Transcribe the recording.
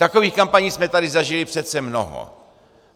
Takových kampaní jsme tady zažili přece mnoho.